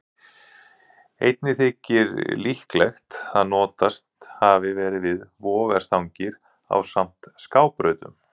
Einnig þykir líklegt að notast hafi verið við vogarstangir ásamt skábrautunum.